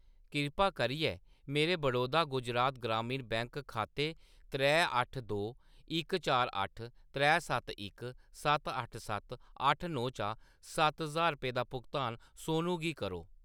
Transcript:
कृपा करियै मेरे बड़ौदा गुजरात ग्रामीण बैंक खाते त्रै अट्ठ दो इक चार अट्ठ त्रै सत्त इक सत्त अट्ठ सत्त अट्ठ नौ चा सत्त ज्हार रपेंऽ दा भुगतान सोनू गी करो।